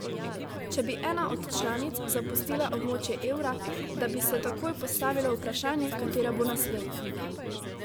Če bi ena od članic zapustila območje evra, da bi se takoj postavilo vprašanje, katera bo naslednja.